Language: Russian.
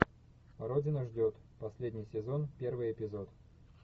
родина ждет последний сезон первый эпизод